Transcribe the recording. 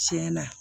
Tiɲɛna